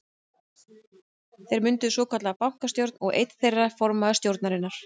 Þeir mynda svokallaða bankastjórn og er einn þeirra formaður stjórnarinnar.